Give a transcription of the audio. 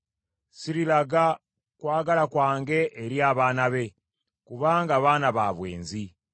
Sirilaga kwagala kwange eri abaana be, kubanga baana ba bwenzi.